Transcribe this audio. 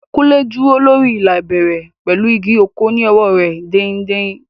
Kunle dúró lórí ìlà ìbẹ̀rẹ̀ pẹ̀lú igi ọ̀kọ̀ ní ọwọ́ rẹ̀ dain-dain.